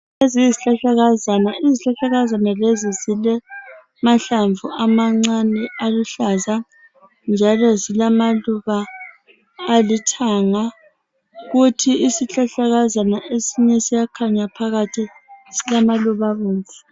Iezi yizihlahlakazana, izihlahlakazana lezi zilamahlamvu amancane aluhlaza njalo zilamaluba alithanga kutho isihlahlakazana esinye siyakhanya phakathi silamaluba abomvu.